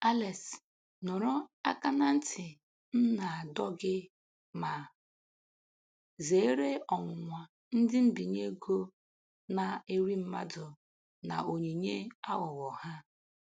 Alex nụrụ aka na nti m na-adọ gị ma zeere ọnwụnwa ndị mbinye ego na-eri mmadụ na onyinye aghụghọ ha.